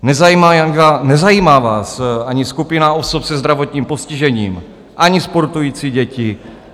Nezajímá vás ani skupina osob se zdravotním postižením, ani sportující děti.